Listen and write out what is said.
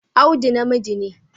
Audu namiji ne